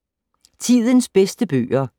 Tidens bedste bøger